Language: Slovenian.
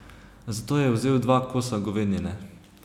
Zato je vzel dva kosa govedine.